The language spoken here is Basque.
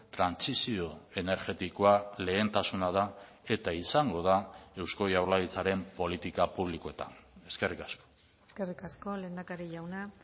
trantsizio energetikoa lehentasuna da eta izango da eusko jaurlaritzaren politika publikoetan eskerrik asko eskerrik asko lehendakari jauna